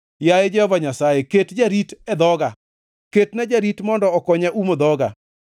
Yaye Jehova Nyasaye, ket jarit e dhoga; ketna jarit mondo okonya umo dhoga.